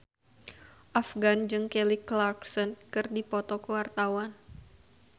Afgan jeung Kelly Clarkson keur dipoto ku wartawan